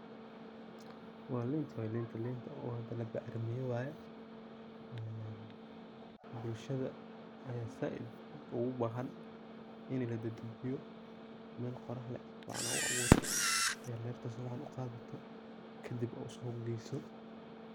Wa linta, linta oo labac rimiye waye een bulshada aya said ogubahan in ladadajiyo, meel qorax leh sifican ogu awurto, lerta sifican uqadato kadib ad suq geyso.